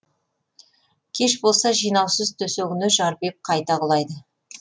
кеш болса жинаусыз төсегіне жарбиып қайта құлайды